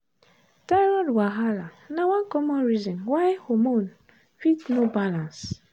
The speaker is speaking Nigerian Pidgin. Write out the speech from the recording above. thyroid wahala na one common reason why hormone fit no balance.